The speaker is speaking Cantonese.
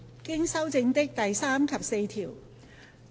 經修正的第3及4條。